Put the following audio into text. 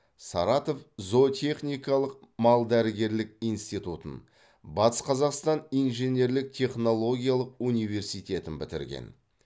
саратов зоотехникалық малдәрігерлік институтын батыс қазақстан инженерлік технологиялық университетін бітірген